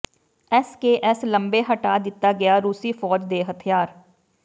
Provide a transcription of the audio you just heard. SKS ਲੰਬੇ ਹਟਾ ਦਿੱਤਾ ਗਿਆ ਰੂਸੀ ਫੌਜ ਦੇ ਹਥਿਆਰ